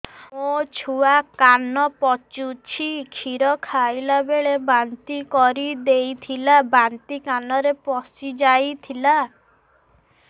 ମୋ ଛୁଆ କାନ ପଚୁଛି କ୍ଷୀର ଖାଇଲାବେଳେ ବାନ୍ତି କରି ଦେଇଥିଲା ବାନ୍ତି କାନରେ ପଶିଯାଇ ଥିଲା